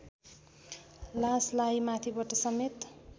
लासलाई माथिबाट समेत